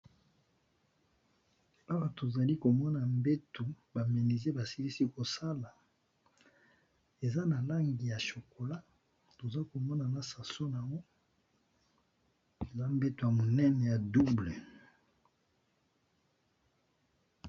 Awa tozalikomona mbentu ba menuisier basilisi KO sala eza na langi ya chocolat tozokomona na saso nayango eza mbetu ya double.